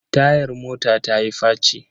Tayar mota ta yi faci.